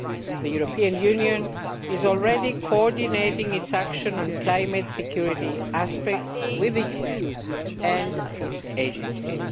The European Union is already coordinating its action on climate security aspects with the UN and its agencies.